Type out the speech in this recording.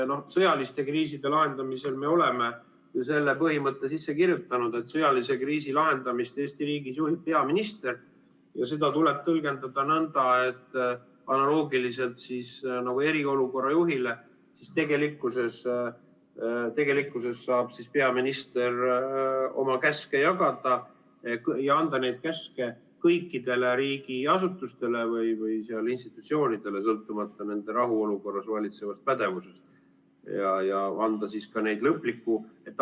Sõjaliste kriiside lahendamisel me oleme selle põhimõtte sisse kirjutanud, et sõjalise kriisi lahendamist Eesti riigis juhib peaminister, ja seda tuleb tõlgendada nõnda, et analoogiliselt eriolukorra juhiga saab peaminister oma käske jagada ja anda käske kõikidele riigiasutustele või institutsioonidele, sõltumata nende rahuolukorra pädevusest, ja anda siis ka lõpliku.